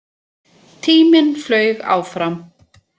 Tíminn flaug áfram.